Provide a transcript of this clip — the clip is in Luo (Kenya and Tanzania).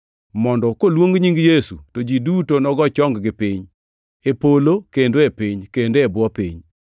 mondo koluong nying Yesu to ji duto nogo chong-gi piny, e polo kendo e piny, kendo e bwo piny,